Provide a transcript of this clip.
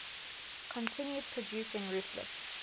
continued producing ruthless